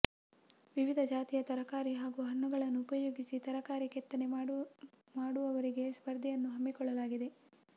ವಿವಿಧ ಜಾತಿಯ ತರಕಾರಿ ಹಾಗೂ ಹಣ್ಣುಗಳನ್ನು ಉಪಯೋಗಿಸಿ ತರಕಾರಿ ಕೆತ್ತನೆ ಮಾಡುವವರಿಗೆ ಸ್ಪರ್ಧೆಯನ್ನು ಹಮ್ಮಿಕೊಳ್ಳಲಾಗಿದೆ